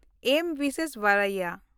ᱢᱮᱹ ᱵᱤᱥᱵᱮᱥᱣᱟᱨᱟᱭᱟ